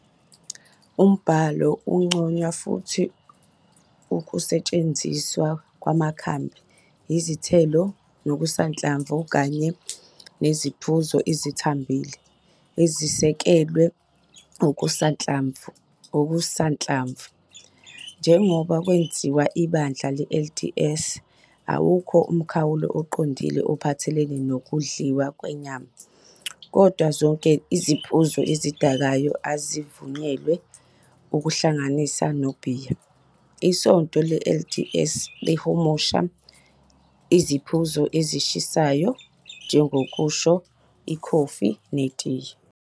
Umbhalo uncoma futhi ukusetshenziswa kwamakhambi, izithelo, nokusanhlamvu, kanye "neziphuzo ezithambile" ezisekelwe okusanhlamvu. Njengoba kwenziwa iBandla le-LDS, awukho umkhawulo oqinile ophathelene nokudliwa kwenyama, kodwa zonke iziphuzo ezidakayo azivunyelwe, kuhlanganise nobhiya. Isonto le-LDS lihumusha "iziphuzo ezishisayo" njengokusho ikhofi netiye.